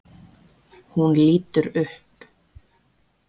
Hún lítur upp.